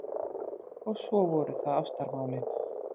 Og svo voru það ástamálin.